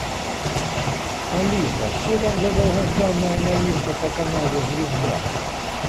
алиса что там за долгожданная новинка по каналу звезда